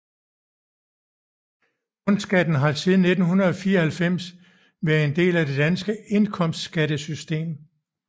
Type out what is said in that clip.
Bundskatten har siden 1994 været en del af det danske indkomstskattesystem